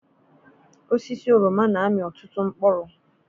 Osisi oroma na-amị ọtụtụ mkpụrụ.